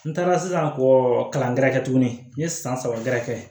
N taara sisan kɔ kalankɛɛrɛ tuguni n ye san saba gɛrɛ kɛ